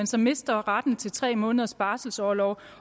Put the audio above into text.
så mister retten til de tre måneders barselorlov